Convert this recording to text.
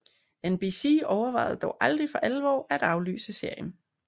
NBC overvejede dog aldrig for alvor at aflyse serien